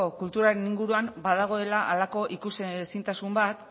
kulturaren inguruan badagoela halako ikusezintasun bat